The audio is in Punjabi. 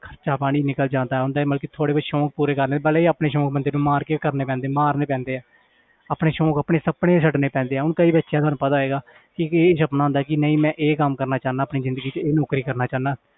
ਖ਼ਰਚਾ ਪਾਣੀ ਨਿਕਲ ਜਾਂਦਾ ਹੈ ਹੁੰਦਾ ਹੈ ਮਤਲਬ ਕਿ ਥੋੜ੍ਹੇ ਬਹੁਤ ਸ਼ੌਂਕ ਪੂਰੇ ਕਰ ਲੈੈਂਦੇ ਵਾਲੇ ਆਪਣੇ ਸ਼ੌਂਕ ਬੰਦੇ ਨੂੰ ਮਾਰ ਕੇ ਕਰਨੇ ਪੈਂਦੇ ਮਾਰਨੇ ਪੈਂਦੇ ਹੈ ਆਪਣੇ ਸ਼ੌਂਕ ਆਪਣੇ ਸੁਪਨੇ ਛੱਡਣੇ ਪੈਂਦੇ ਹੈ ਹੁਣ ਕਈ ਦੇਖਿਆ ਤੁਹਾਨੂੰ ਪਤਾ ਹੋਏਗਾ ਕਿ ਕਿਸੇ ਦਾ ਸੁਪਨਾ ਹੁੰਦਾ ਕਿ ਨਹੀਂ ਮੈਂ ਇਹ ਕੰਮ ਕਰਨਾ ਚਾਹੁਨਾ ਆਪਣੀ ਜ਼ਿੰਦਗੀ 'ਚ ਇਹ ਨੌਕਰੀ ਕਰਨਾ ਚਾਹੁਨਾ।